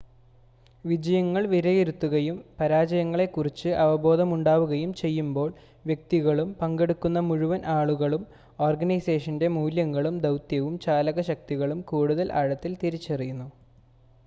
വിജയങ്ങൾ വിലയിരുത്തുകയും പരാജയങ്ങളെ കുറിച്ച് അവബോധമുണ്ടാവുകയും ചെയ്യുമ്പോൾ വ്യക്തികളും പങ്കെടുക്കുന്ന മുഴുവൻ ആളുകളും ഓർഗനൈസേഷൻ്റെ മൂല്യങ്ങളും ദൗത്യവും ചാലക ശക്തികളും കൂടുതൽ ആഴത്തിൽ തിരിച്ചറിയുന്നു